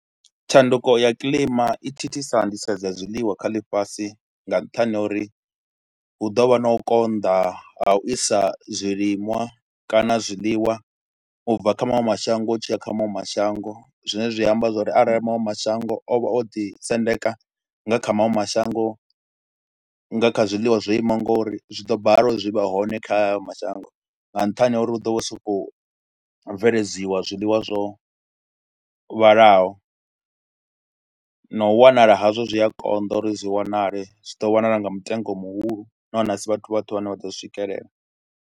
Tshanduko ya kilima i thithisa nḓisedzo ya zwiḽiwa kha ḽifhasi nga nṱhani ha uri hu ḓo vha na u konḓa ha u isa zwiliṅwa kana zwiḽiwa u bva kha maṅwe mashango u tshi ya kha maṅwe mashango zwine zwi amba zwo ri arali maṅwe mashango o vha o ḓisendeka nga kha maṅwe mashango nga kha zwiḽiwa zwo imaho ngori, zwi ḓo bala u zwi vhe hone kha hayo mashango nga nṱhani ha uri hu ḓo vha hu sokou bveledziwa zwiḽiwa zwo vhalaho na u wanala hazwo zwi a konḓa uri zwi wanale, zwi ḓo wanala nga mutengo muhulu nahone a si vhathu vhoṱhe vhane vha ḓo swikelela.